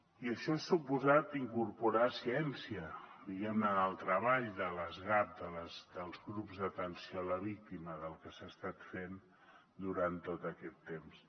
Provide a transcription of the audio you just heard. i això ha suposat incorporar ciència diguem ne en el treball de les gap dels grups d’atenció a la víctima del que s’ha estat fent durant tot aquest temps